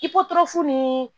I kɔfu nii